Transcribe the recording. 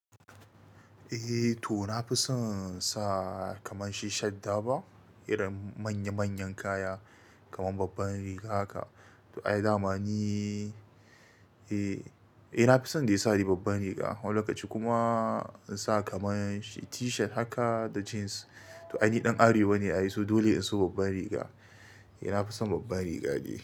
Eh to na fi son sa kamar shi shadda ba, irin manya manyan kaya kamar babban riga haka. To ai damani, eh, eh na fi son dai sa ni babban riga. Wani lokaci kuma in sa kamar shi T-shirt haka da jeans. To ai ni ɗan Arewa ne ai, so dole in so babban riga. Eh na fi son babban riga ni.